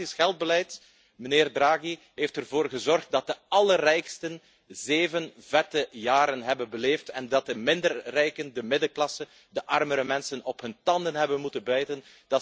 Uw gratis geldbeleid heeft ervoor gezorgd dat de allerrijksten zeven vette jaren hebben beleefd en dat de minder rijken, de middenklasse, de armere mensen op hun tanden hebben moeten bijten.